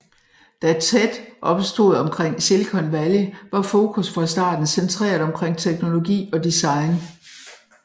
Da TED opstod omkring Silicon Valley var fokus fra starten centreret omkring teknologi og design